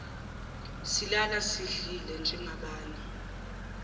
silala sidlile njengabanye